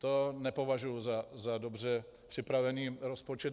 To nepovažuji za dobře připravený rozpočet.